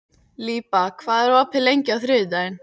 Líba, hvað er opið lengi á þriðjudaginn?